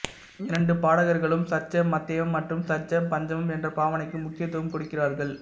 இரண்டு பாடகர்களும் சட்ஜம் மத்தியமம் மற்றும் சட்ஜம்பஞ்சமம் என்ற பாவனைக்கு முக்கியத்துவம் கொடுக்கிறார்கள்